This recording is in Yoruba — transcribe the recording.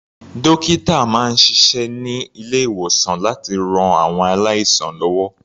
Dókítà máa ń ṣiṣẹ́ ní ilé-ìwòsàn láti ran àwọn aláìsàn lọ́wọ́.